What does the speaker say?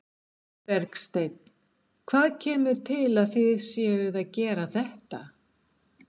Bergsteinn, hvað kemur til að þið séuð að gera þetta?